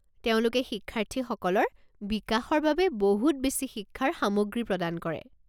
তেওঁলোকে শিক্ষাৰ্থীসকলৰ বিকাশৰ বাবে বহুত বেছি শিক্ষাৰ সামগ্ৰী প্ৰদান কৰে।